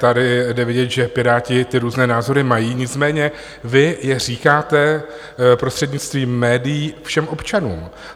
Tady je vidět, že Piráti ty různé názory mají, nicméně vy je říkáte prostřednictvím médií všem občanům.